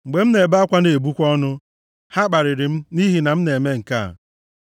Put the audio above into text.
Mgbe m na-ebe akwa na-ebukwa ọnụ, ha kparịrị m nʼihi na m na-eme nke a.